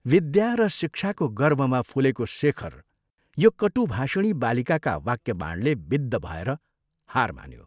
विद्या र शिक्षाको गर्वमा फुलेको शेखर यो कटुभाषिणी बालिकाका वाक्यवाणले विद्ध भएर हार मान्यो।